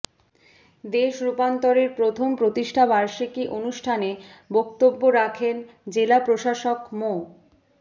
দেশ রূপান্তরের প্রথম প্রতিষ্ঠাবার্ষিকী অনুষ্ঠানে বক্তব্য রাখেন জেলা প্রশাসক মো